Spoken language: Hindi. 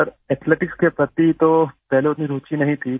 सर एथलेटिक्स के प्रति तो पहले उतनी रूचि नहीं थी